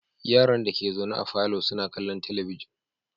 Yaran dake zaune a falo suna kallon talabijin